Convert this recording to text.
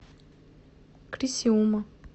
крисиума